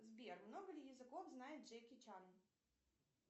сбер много ли языков знает джеки чан